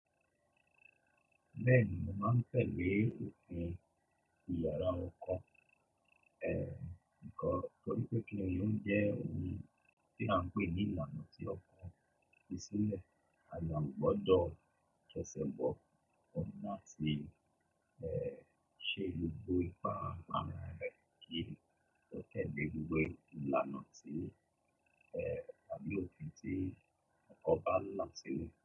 Bẹ́ẹ̀ni, mo máa ń fẹ́ lé òpin ìlàrá ọkan. Nígbà torí pé kí ni o n jẹ́ oun tí à ń pè ní ìlànà tí ó kún sílẹ̀. A yàá gbọdọ̀ kẹ́sẹ̀ gbọ́ ọ̀nà tí ṣe ìlú bó ipá ara rẹ̀ kí a tó tẹ̀lé gbogbo ìlànà tí àbí òpin tí ọkọ bá ń lọ sílẹ̀.